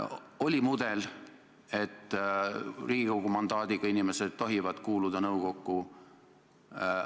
Oli mudel, et Riigikogu mandaadiga inimesed tohivad kuuluda nõukokku.